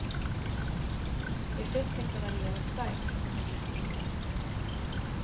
Effekten kan variera starkt från individ till individ.